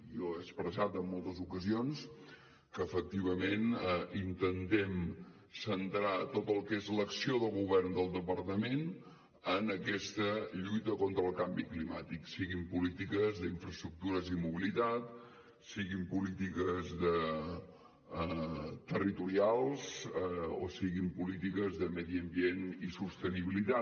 jo he expressat en moltes ocasions que efectivament intentem centrar tot el que és l’acció de govern del departament en aquesta lluita contra el canvi climàtic siguin polítiques d’infraestructures i mobilitat siguin polítiques territorials o siguin polítiques de medi ambient i sostenibilitat